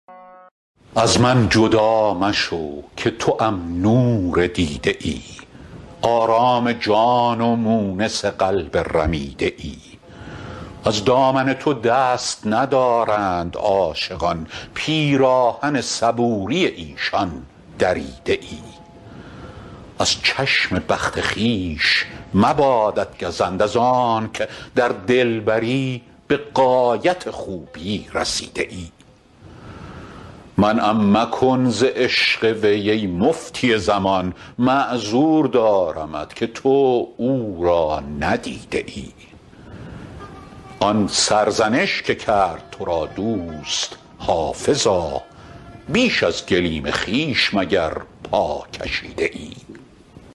از من جدا مشو که توام نور دیده ای آرام جان و مونس قلب رمیده ای از دامن تو دست ندارند عاشقان پیراهن صبوری ایشان دریده ای از چشم بخت خویش مبادت گزند از آنک در دلبری به غایت خوبی رسیده ای منعم مکن ز عشق وی ای مفتی زمان معذور دارمت که تو او را ندیده ای آن سرزنش که کرد تو را دوست حافظا بیش از گلیم خویش مگر پا کشیده ای